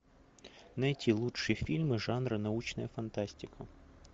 найти лучшие фильмы жанра научная фантастика